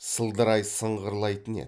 сылдырай сыңғырлайтын еді